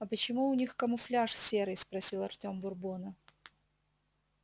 а почему у них камуфляж серый спросил артём бурбона